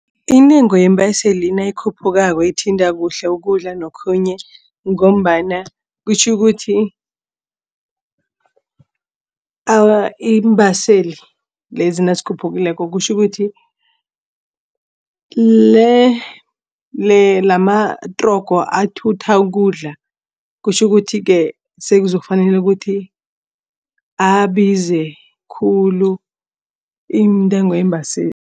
Intengo yeembaseli nayikhuphukako ithinta kuhle ukudla nokhunye ngombana kutjho ukuthi iimbaseli lezi nazikhuphukileko kutjho ukuthi amatrogo athutha ukudla kutjho ukuthi-ke sekuzokufanele ukuthi abize khulu intengo yeembaseli.